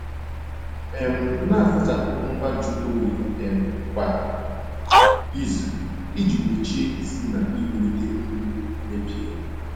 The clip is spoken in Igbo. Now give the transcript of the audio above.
um Na-asachapụ ngwa nju oyi um kwa izu iji gbochie isi na iwulite nri mebiela.